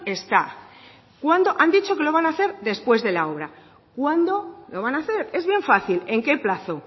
está han dicho que lo van a hacer después de la obra cuándo lo van a hacer es bien fácil en qué plazo